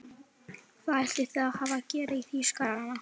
Hvað ætli þið hafið að gera í Þýskarana!